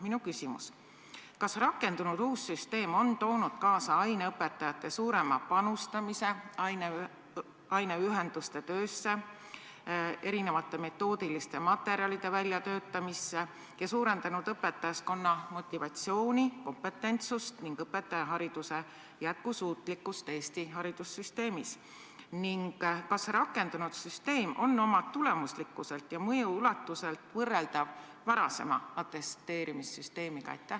Minu küsimus: kas rakendunud uus süsteem on toonud kaasa aineõpetajate suurema panustamise aineühenduste töösse ja erinevate metoodiliste materjalide väljatöötamisse ning suurendanud õpetajaskonna motivatsiooni, kompetentsust ning õpetajahariduse jätkusuutlikkust Eesti haridussüsteemis, kas rakendunud süsteem on oma tulemuslikkuselt ja mõju ulatuselt võrreldav varasema atesteerimissüsteemiga?